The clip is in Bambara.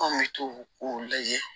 An bɛ t'o o lajɛ